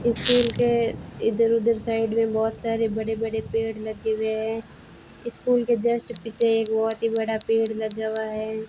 School के इधर उधर साइड में बहोत सारे बड़े बड़े पेड़ लगे हुए हैं स्कूल के जस्ट पीछे एक बहोत ही बड़ा पेड़ लगा हुआ है।